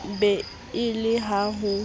be e le ha ho